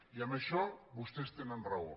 i en això vostès tenen raó